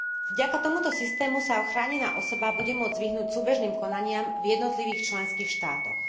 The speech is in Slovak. Vďaka tomuto systému sa chránená osoba bude môcť vyhnúť súbežným konaniam v jednotlivých členských štátoch.